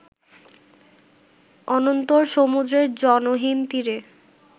অনন্তর সমুদ্রের জনহীন তীরে